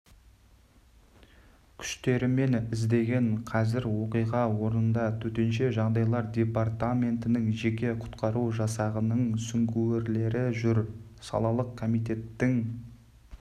күштерімен іздеген қазір оқиға орнында төтенше жағдайлар департаментінің жеке құтқару жасағының сүңгуірлері жүр салалық комитеттің